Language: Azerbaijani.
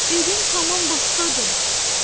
Evim tamam başqadır.